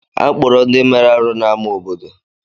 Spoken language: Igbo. Akpọrọ ndị mere arụ́ n'amá obodo.